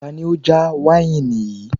Tani ó já wáìnì yìí